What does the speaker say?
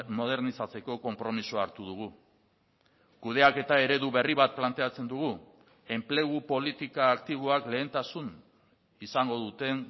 modernizatzeko konpromisoa hartu dugu kudeaketa eredu berri bat planteatzen dugu enplegu politika aktiboak lehentasun izango duten